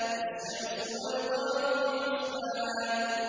الشَّمْسُ وَالْقَمَرُ بِحُسْبَانٍ